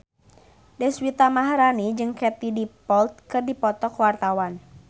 Deswita Maharani jeung Katie Dippold keur dipoto ku wartawan